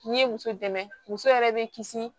N'i ye muso dɛmɛ muso yɛrɛ bɛ kisi